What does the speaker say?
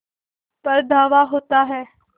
पर धावा होता है